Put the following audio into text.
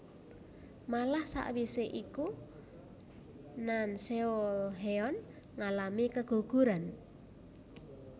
Malah sawise iku Nanseolheon ngalami keguguran